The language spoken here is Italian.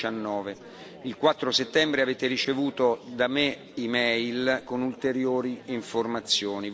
2019. Il 4 settembre avete ricevuto da me un'e mail con ulteriori informazioni.